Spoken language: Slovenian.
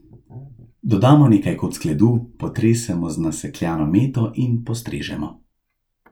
Dodamo nekaj kock ledu, potresemo z nasekljano meto in postrežemo.